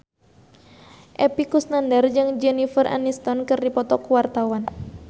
Epy Kusnandar jeung Jennifer Aniston keur dipoto ku wartawan